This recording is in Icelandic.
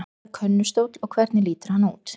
Hvað er könnustóll og hvernig lítur hann út?